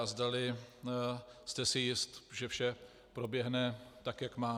A zdali jste si jist, že vše proběhne tak, jak má.